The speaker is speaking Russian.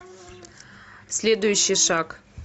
следующий шаг